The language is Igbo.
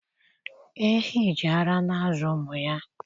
Ehi jì ara na-azụ ụmụ ha.